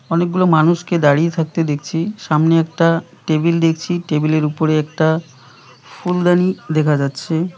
অনেকগুলো মানুষকে দাঁড়িয়ে থাকতে দেখছি সামনে একটা টেবিল দেখছি টেবিলের উপরে একটা ফুলদানি দেখা যাচ্ছে।